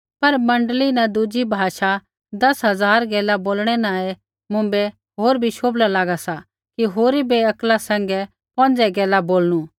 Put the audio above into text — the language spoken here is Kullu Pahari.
पर मण्डली न दुज़ी भाषा दस हज़ार गैला बोलणै न ऐ मुँभै होर भी शोभला लागा सा कि होरी बै अक्ला सैंघै पौंजे गैला बोलणु